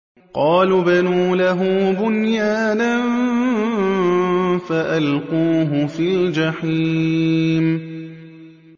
قَالُوا ابْنُوا لَهُ بُنْيَانًا فَأَلْقُوهُ فِي الْجَحِيمِ